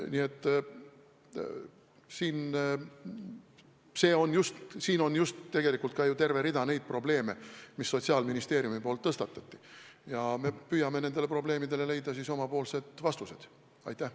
Nii et siin on tegelikult terve rida neid probleeme, mis Sotsiaalministeeriumis tõstatati, ja me püüame nendele probleemidele vastuseid leida.